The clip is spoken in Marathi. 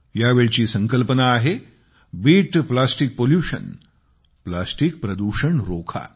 या वेळची संकल्पना आहे बीट प्लास्टिक पॉल्युशन प्लास्टिक प्रदूषण रोखा